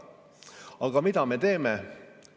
Aga mida me teeme?